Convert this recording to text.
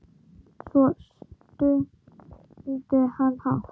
Svo stundi hann hátt.